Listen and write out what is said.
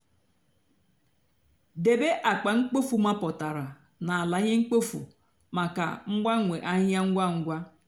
débé ákpa mkpofu mápụtárá nà álá íhè mkpofu mákà mgbanwe áhịhịa ngwa ngwa.